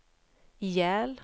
ihjäl